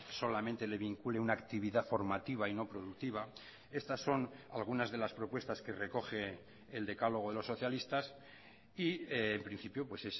solamente le vincule una actividad formativa y no productiva estas son algunas de las propuestas que recoge el decálogo de los socialistas y en principio pues